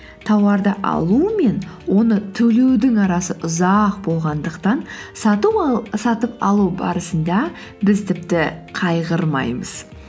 тауарды алу мен оны төлеудің арасы ұзақ болғандықтан сатып алу барысында біз тіпті қайғырмаймыз